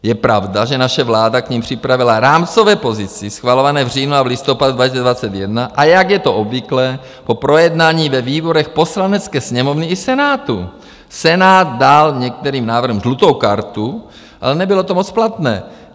Je pravda, že naše vláda k nim připravila rámcové pozice schvalované v říjnu a v listopadu 2021, a jak je to obvyklé, po projednání ve výborech Poslanecké sněmovny i Senátu - Senát dal některým návrhům žlutou kartu, ale nebylo to moc platné.